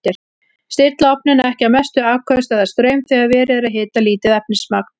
Stilla ofninn ekki á mestu afköst eða straum þegar verið er að hita lítið efnismagn.